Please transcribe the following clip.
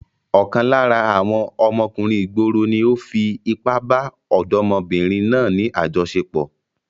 Ọ̀kan lára àwọn ọmọkùnrin ìgboro ni ó fi ipá bá ọ̀dọ́mọbìnrin náà ní àjọṣepọ̀.